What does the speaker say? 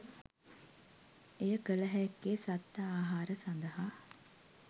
එය කලහැක්කේ සත්ව ආහාර සඳහා